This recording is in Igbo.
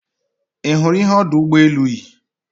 Ị hụrụ ihe ọdụ ụgbọ elu yi?